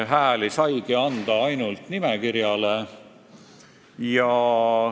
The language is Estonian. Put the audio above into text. Hääli saigi anda ainult nimekirjale.